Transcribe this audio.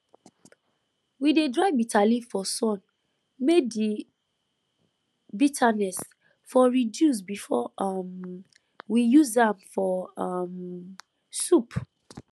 we dey dry bitterleaf for sun may the bitterness for reduce before um we use am for um soup